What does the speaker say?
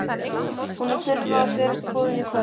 Honum þurfa að berast boðin í kvöld.